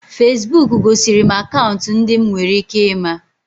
Feesbuk gosiri m akaụntụ ndị m nwere ike ịma